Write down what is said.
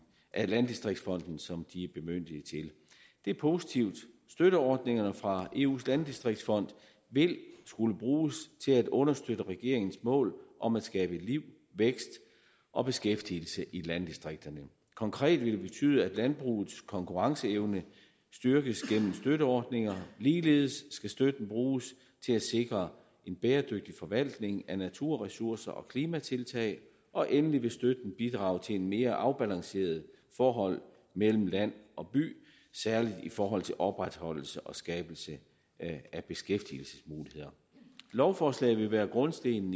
af landdistriktsfonden som de er bemyndiget til det er positivt støtteordningerne fra eus landdistriktsfond vil skulle bruges til at understøtte regeringens mål om at skabe liv vækst og beskæftigelse i landdistrikterne konkret vil det betyde at landbrugets konkurrenceevne styrkes gennem støtteordninger ligeledes skal støtten bruges til at sikre en bæredygtig forvaltning af naturressourcer og klimatiltag og endelig vil støtten bidrage til et mere afbalanceret forhold mellem land og by særlig i forhold til opretholdelse og skabelse af beskæftigelsesmuligheder lovforslaget vil være grundstenen